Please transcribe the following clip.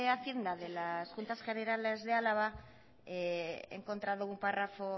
hacienda de las juntas generales de álava he encontrado un párrafo